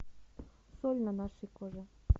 соль на нашей коже